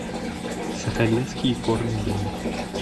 сахалинский икорный дом